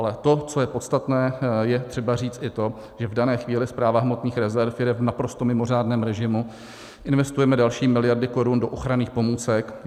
Ale to, co je podstatné, je třeba říci i to, že v dané chvíli Správa hmotných rezerv jede v naprosto mimořádném režimu, investujeme další miliardy korun do ochranných pomůcek.